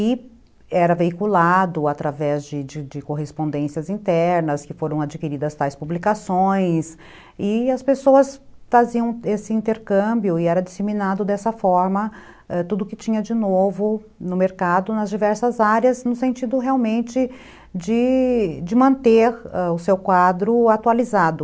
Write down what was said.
e, era veiculado através de de de correspondências internas, que foram adquiridas tais publicações, e as pessoas faziam esse intercâmbio e era disseminado dessa forma, ãh, tudo que tinha de novo no mercado, nas diversas áreas no sentido realmente de de manter o seu quadro atualizado.